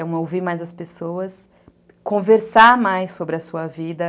Então, ouvir mais as pessoas, conversar mais sobre a sua vida.